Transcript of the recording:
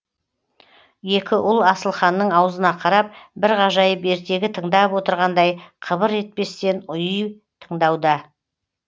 екі ұл асылханның аузына қарап бір ғажайып ертегі тыңдап отырғандай қыбыр етпестен ұйый тыңдауда